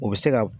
O bɛ se ka